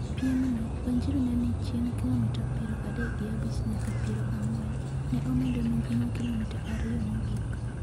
Piemno, Wanjiru ne ni chien kilomita piero adek gi abich nyaka piero ang'wen, ne omedo mijing'o kilomita ariyo mogik.